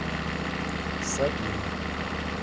сабину